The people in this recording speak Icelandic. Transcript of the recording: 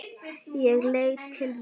Ég leit til mömmu.